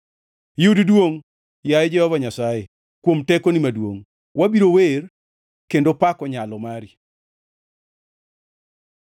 Yud duongʼ, yaye Jehova Nyasaye, kuom tekoni maduongʼ; wabiro wer kendo pako nyalo mari.